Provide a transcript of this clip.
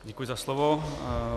Děkuji za slovo.